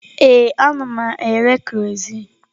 Ee, ana m ere kerọsinụ.